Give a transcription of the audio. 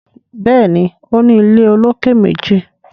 Béèni o ní ilé olokè méjì.